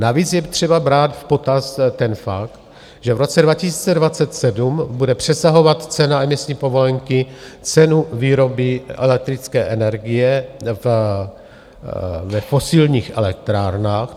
Navíc je třeba brát v potaz ten fakt, že v roce 2027 bude přesahovat cena emisní povolenky cenu výroby elektrické energie ve fosilních elektrárnách.